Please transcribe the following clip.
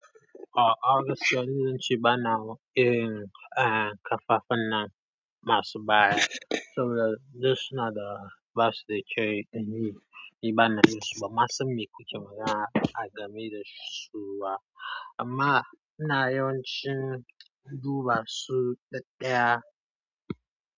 Ah, August yanzu sun ci bana wa irin eh kafafan nan masu baya. Saboda dai suna da ba su da kyau, anyi yi bana yi su ba. Ma sun mi ku ki magana a game da su ba. Amma ina yawan cin duba su daɗɗaya.